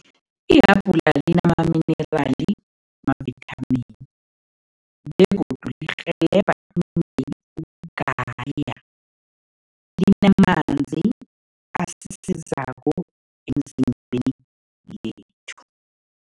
Ihabhula linamaminirali mavithamini begodu lirhelebha indeni ukugaya, linamanzi asisizako emzimbeni yethu.